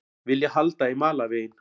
Vilja halda í malarveginn